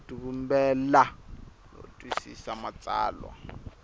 ku tivumbela no twisisa matsalwa